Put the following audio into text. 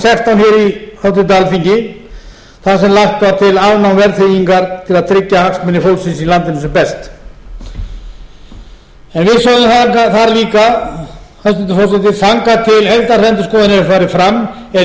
í háttvirtu alþingi þar sem lagt var til afnám verðtryggingar til að tryggja hagsmuni fólksins í landinu sem best við sögðum þar líka hæstvirtur forseti þangað til heildarendurskoðun hefur farið fram er mikilvægt að fram til móts